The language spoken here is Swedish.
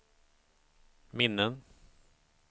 minnen